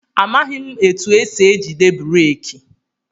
Amaghị m etụ esị ejide breeki.